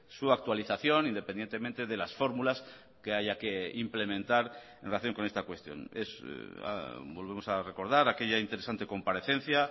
su actualización independientemente de las fórmulas que haya que implementar en relación con esta cuestión es volvemos a recordar aquella interesante comparecencia